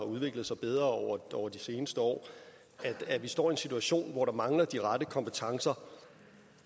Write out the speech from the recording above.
udviklet sig bedre over de seneste år altså at vi står i en situation hvor der mangler de rette kompetencer